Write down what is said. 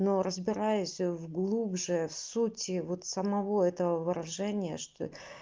но разбираясь в глубже в сути вот самого этого выражения что